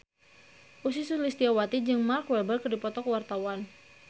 Ussy Sulistyawati jeung Mark Walberg keur dipoto ku wartawan